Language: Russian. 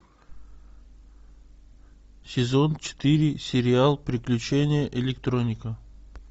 сезон четыре сериал приключения электроника